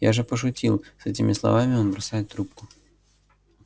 я же пошутил с этими словами он бросает трубку